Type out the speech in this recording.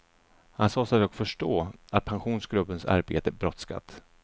Han sade sig dock förstå att pensionsgruppens arbete brådskat.